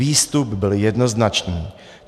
Výstup byl jednoznačný.